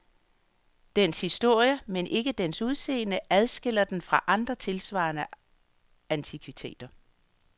Dens historie, men ikke dens udseende, adskiller den fra andre tilsvarende antikviteter.